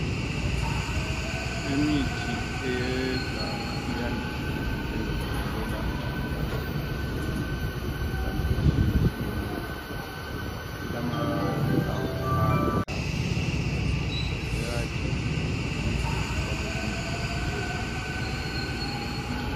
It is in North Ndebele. Imithi eyeganga yandise ukusetshenziswa ukwelapha abantu imikhuhlane etshiyetshiyeneyo. Ilamahlamvu aluhlaza. Iyagejwa igigwe ifakwe embodleleni.